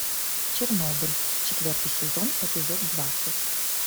чернобыль четвертый сезон эпизод двадцать